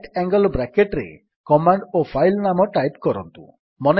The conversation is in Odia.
ରାଇଟ୍ ଆଙ୍ଗଲ୍ ବ୍ରାକେଟ୍ ରେ କମାଣ୍ଡ୍ ଓ ଫାଇଲ୍ ନାମ ଟାଇପ୍ କରନ୍ତୁ